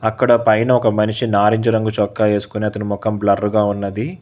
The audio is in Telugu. అక్కడ పైన ఒక మనిషి నారింజ రంగు చొక్క వేసుకుని అతని మొఖం బ్లర్ గా ఉన్నది.